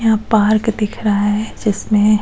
यहां पार्क दिख रहा है जिसमें --